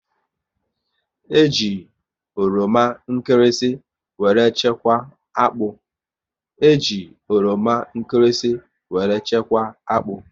E ji oroma nkịrịsị were chekwa akpụ